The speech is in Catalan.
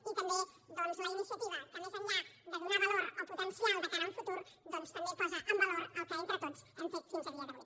i també la iniciativa que més enllà de donar valor o potencial de cara a un futur també posa en valor el que entre tots hem fet fins a dia d’avui